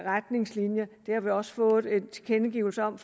retningslinjer det har vi også fået en tilkendegivelse om